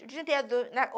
O dia inteiro.